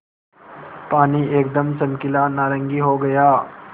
पानी एकदम चमकीला नारंगी हो गया